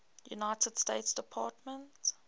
united states department